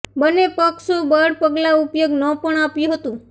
બંને પક્ષો બળ પગલાં ઉપયોગ ન પણ આપ્યું હતું